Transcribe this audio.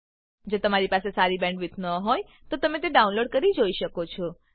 જો તમારી પાસે સારી બેન્ડવિડ્થ ન હોય તો તમે વિડીયો ડાઉનલોડ કરીને જોઈ શકો છો